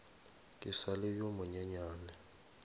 ke sa le yo monyenyane